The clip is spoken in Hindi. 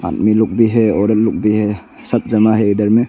आदमी लोग भी है औरत लोग भी है सब जमा है इधर में।